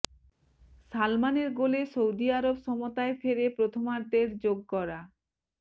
সালমানের গোলে সৌদি আরব সমতায় ফেরে প্রথমার্ধের যোগ করা